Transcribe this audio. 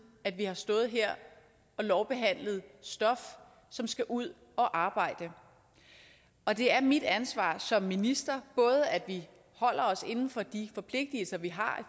at vi har stået her og lovbehandlet stof som skal ud og arbejde og det er mit ansvar som minister både at vi holder os inden for de forpligtelser vi har